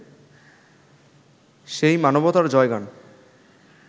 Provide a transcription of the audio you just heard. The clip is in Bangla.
সেই মানবতার জয়গান